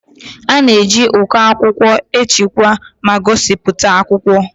A na-eji uko akwụkwọ echekwa ma gosipụta akwụkwọ.